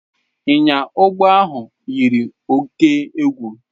Ịnya ụgbọ ahụ yiri oke egwu.